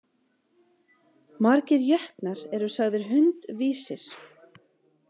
Margir jötnar eru sagðir hundvísir.